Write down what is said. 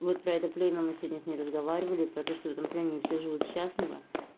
вот про это племя мы сегодня с ней разговаривали про то что в этом племени все живут счастливо